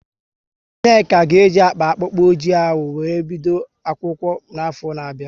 Nneka ga e ji akpa akpụkpọ oji ahụ wéré bido akwụkwọ n'afọ na bia